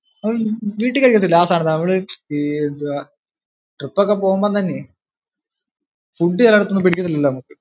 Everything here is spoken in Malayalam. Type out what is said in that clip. ഉം വീട്ടിൽ കഴിക്കത്തില്ലിയോ ആ സാധനം തന്നെ. അവിടെ ഈ ട് trip പോകുമ്പോ തന്നെ food ചിലർക്കൊന്നും പിടിക്കത്തില്ലല്ലോ നമക്ക്.